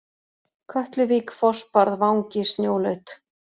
Kötluvík, Fossbarð, Vangi, Snjólaut